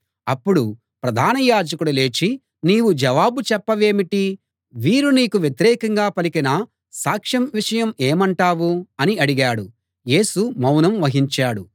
అప్పుడు ప్రధాన యాజకుడు లేచి నీవు జవాబు చెప్పవేమిటి వీరు నీకు వ్యతిరేకంగా పలికిన సాక్ష్యం విషయం ఏమంటావు అని అడిగాడు యేసు మౌనం వహించాడు